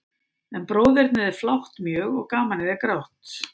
En bróðernið er flátt mjög, og gamanið er grátt.